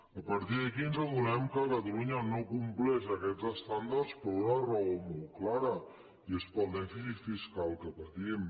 a partir d’aquí ens adonem que catalunya no compleix aquests estàndards per una raó molt clara que és per al dèficit fiscal que patim